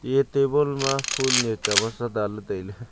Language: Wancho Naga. iya table ma ya chavatsa danley tailey.